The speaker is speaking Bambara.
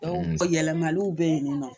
yɛlɛmaliw bɛ yen nɔ